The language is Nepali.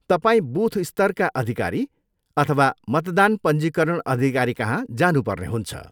तपाईँ बुथ स्तरका अधिकारी अथवा मतदान पञ्जीकरण अधिकारीकहाँ जानुपर्ने हुन्छ।